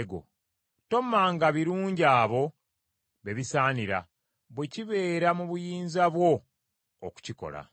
Tommanga birungi abo be bisaanira bwe kibeera mu buyinza bwo okukikola.